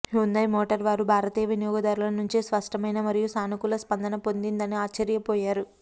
Hyundai motor వారు భారతీయ వినియోగదారుల నుంచి స్పష్టమైన మరియు సానుకూల స్పందన పొందిందని ఆశ్చర్యపోయారు